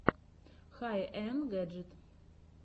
хай энд гэджит